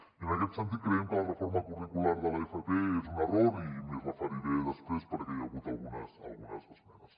i en aquest sentit creiem que la reforma curricular de l’fp és un error i m’hi referiré després perquè hi ha hagut algunes esmenes